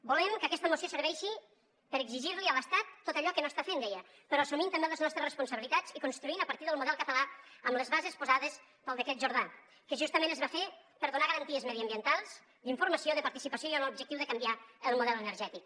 volem que aquesta moció serveixi per exigir li a l’estat tot allò que no està fent deia però assumint també les nostres responsabilitats i construint a partir del model català amb les bases posades pel decret jordà que justament es va fer per donar garanties mediambientals d’informació de participació i amb l’objectiu de canviar el model energètic